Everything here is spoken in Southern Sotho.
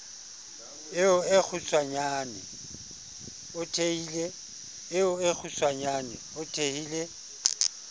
eo e kgutshwanyane o thehile